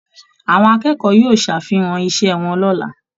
Àwọn akẹ́kọ̀ọ́ yóò ṣàfihàn iṣẹ́ wọn lọ́la